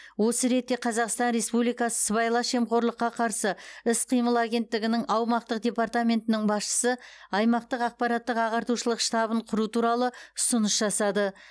осы ретте қазақстан республикасы сыбайлас жемқорлыққа қарсы іс қимыл агенттігінің аумақтық департаментінің басшысы аймақтық ақпараттық ағартушылық штабын құру туралы ұсыныс жасады